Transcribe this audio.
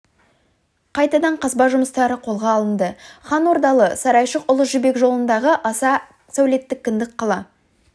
қайтадан қазба жұмыстары қолға алынды хан ордалы сарайшық ұлы жібек жолындағы аса сәулетті кіндік қала